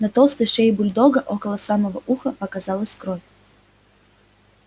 на толстой шее бульдога около самого уха показалась кровь